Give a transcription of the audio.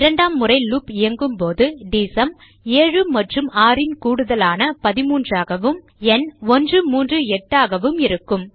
இரண்டாம் முறை லூப் இயங்கும்போது டிஎஸ்யூஎம் 7 மற்றும் 6 ன் கூடுதலான 13 ஆகவும் ந் 138 ஆகவும் இருக்கும்